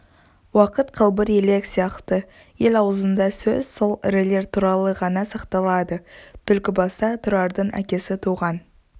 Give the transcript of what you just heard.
уақыт қалбыр елек сияқты ел аузында сөз сол ірілер туралы ғана сақталады түлкібаста тұрардың әкесі туған